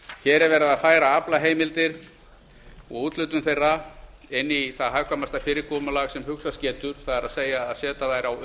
hér er verið að færa aflaheimildir og úthlutun þeirra inn í það hagkvæmasta fyrirkomulag sem hugsast getur það er að setja þær á